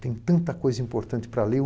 Tem tanta coisa importante para ler, eu